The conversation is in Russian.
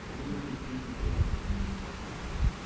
ну вернее ебу я её всю